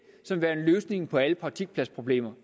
som værende løsningen på alle praktikpladsproblemer